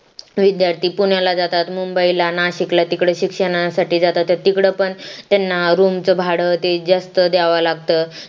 विद्यार्थी पुण्याला जातात मुंबईला नाशिकला तिकडे शिक्षणासाठी जातात तिकडे पण त्यांना room चं भाडं ते जास्त द्यावा लागतं